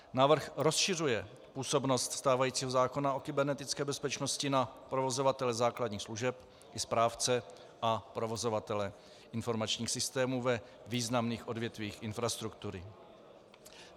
Návrh rozšiřuje působnost stávajícího zákona o kybernetické bezpečnosti na provozovatele základních služeb i správce a provozovatele informačních systémů ve významných odvětvích infrastruktury.